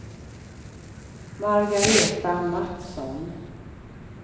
Margareta Matsson